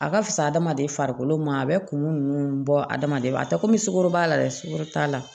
A ka fisa adamaden farikolo ma a bɛ kungo ninnu bɔ adamaden a tɛ komi sukoro b'a la dɛ sukoro t'a la